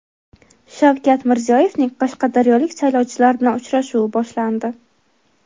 Shavkat Mirziyoyevning qashqadaryolik saylovchilar bilan uchrashuvi boshlandi.